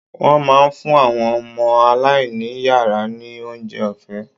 Wọ́n máa ń fún àwọn ọmọ aláìní yàrá ní oúnjẹ ọ̀fẹ́.